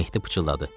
Mehdi pıçıldadı.